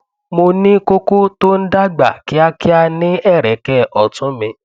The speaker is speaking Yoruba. mo ní koko tó ń dàgbà kíákíá ní ẹrẹkẹ ọtún mi